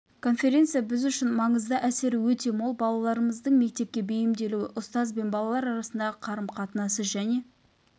конференция біз үшін маңызды әсері өте мол балаларымыздың мектепке бейімделуі ұстаз бен балалар арасындағы қарым-қатынасы және